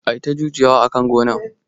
Ata jujuya wa akan gonan